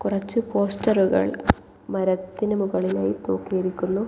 കുറച്ച് പോസ്റ്ററുകൾ മരത്തിനു മുകളിലായി തൂക്കിയിരിക്കുന്നു.